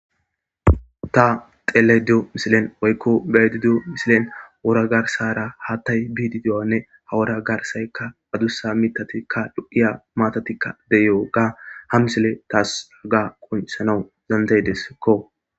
Ta xelayida deyewu misilen woyiko beyayida dewu misileni wora garisara hathayi bidi deyuwganne he wora garisayi adussa mithatine mattati deyiwoga ha misiley tassi qonicisanawu danidayidesi